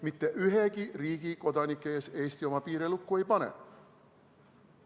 Mitte ühegi riigi kodanike ees Eesti oma piire lukku ei pane.